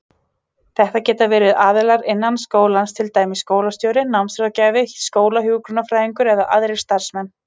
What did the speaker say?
Þetta geta verið aðilar innan skólans, til dæmis skólastjóri, námsráðgjafi, skólahjúkrunarfræðingur eða aðrir starfsmenn.